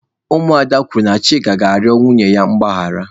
Ụmụ ada kwuru na Chika ga-arịọ nwunye ya mgbaghara.